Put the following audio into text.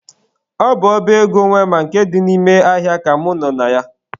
Ọ bụ ọba ego wema nke dị n'ime ahịa ka mụ nọ na ya.